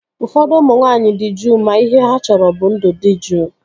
Ụfọdụ ụmụ nwaanyị dị juu ma ihe ha chọrọ bụ ndụ dị juu